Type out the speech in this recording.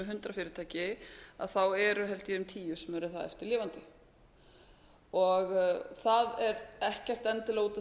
hundrað fyrirtæki að þá eru held ég um tíu sem eru þá eftir lifandi það er ekkert endilega út af